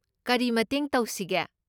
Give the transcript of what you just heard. ꯀꯔꯤ ꯃꯇꯦꯡ ꯇꯧꯁꯤꯒꯦ?